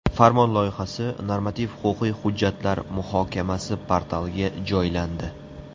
Farmon loyihasi Normativ-huquqiy hujjatlar muhokamasi portaliga joylandi .